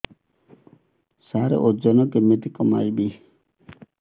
ସାର ଓଜନ କେମିତି କମେଇବି